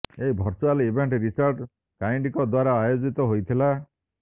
ଏହି virtual event Richard କାଇଣ୍ଡଙ୍କ ଦ୍ୱାରା ଆୟୋଜିତ ହୋଇଥିଲା